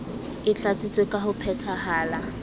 e tlatsitswe ka ho phetahala